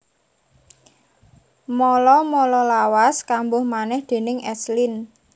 Mala mala lawas kambuh manèh déning S Lin